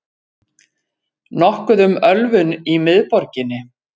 Nokkuð um ölvun í miðborginni